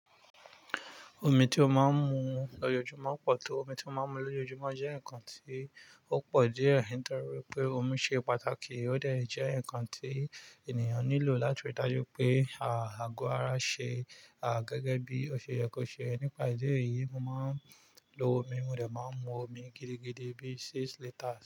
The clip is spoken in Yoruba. Omi tí ó máa ń mu lójoójúmọ̀ pọ̀ tó. Omi tí ó máa ń mu lójoójúmọ̀ jẹ́ ǹkan tí ó pọ̀ díẹ̀, nítorí pé omi ṣe pàtàkì, ó dẹ̀ jẹ́ ǹkan tí ènìyàn nílò. Látòrí dájú pé, àgọ ara ṣe, gẹ́gẹ́ bí o ṣe yẹ kó ṣe. Nípa ìdí èyí, mo máa ń lo omi, mo dẹ̀ máa ń mu omi gidigidi bí i six liters.